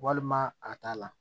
Walima a t'a la